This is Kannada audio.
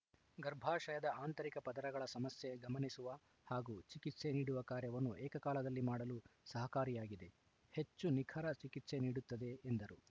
ಗರ್ಭಾಶಯದ ಆಂತರಿಕ ಪದರಗಳ ಸಮಸ್ಯೆ ಗಮನಿಸುವ ಹಾಗೂ ಚಿಕಿತ್ಸೆ ನೀಡುವ ಕಾರ್ಯವನ್ನು ಏಕಕಾಲದಲ್ಲಿ ಮಾಡಲು ಸಹಕಾರಿಯಾಗಿದೆ ಹೆಚ್ಚು ನಿಖರ ಚಿಕಿತ್ಸೆ ನೀಡುತ್ತದೆ ಎಂದರು